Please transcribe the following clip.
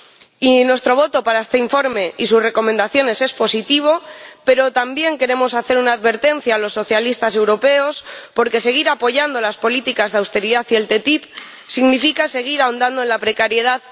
Y mi voto para este informe y sus recomendaciones es positivo, pero también quiero hacer una advertencia a los socialistas europeos, porque seguir apoyando las políticas de austeridad y la ATCI significa seguir ahondando en la precariedad